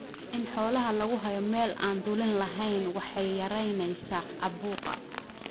In xoolaha lagu haayo meel aan dulin lahayn waxay yaraynaysaa caabuqa.